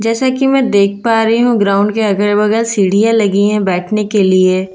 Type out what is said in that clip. जैसा की मैं देख पा रही हूँ ग्राउंड के अगल बगल सिडि़या लगी हैं बैठने के लिए --